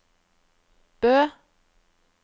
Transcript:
Bø